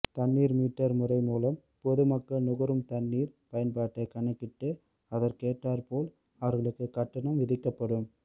தண்ணீர் மீட்டர் முறை மூலம் பொதுமக்கள் நுகரும் தண்ணீர் பயன்பாட்டை கணக்கிட்டு அதற்கேற்றார்போல் அவர்களுக்கு கட்டணம் விதிக்கப்படும்